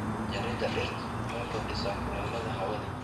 Jaridda dhirta waxay kordhisaa kuleylka hawada.